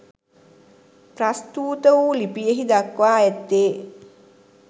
ප්‍රස්තුත වු ලිපියෙහි දක්වා ඇත්තේ